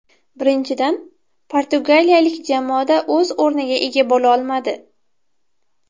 Birinchidan, portugaliyalik jamoada o‘z o‘rniga ega bo‘lolmadi.